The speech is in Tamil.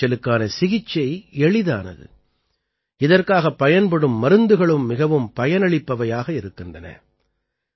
கருங்காய்ச்சலுக்கான சிகிச்சை எளிதானது இதற்காகப் பயன்படும் மருந்துகளும் மிகவும் பயனளிப்பவையாக இருக்கின்றன